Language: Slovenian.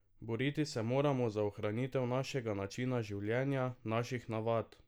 Boriti se moramo za ohranitev našega načina življenja, naših navad!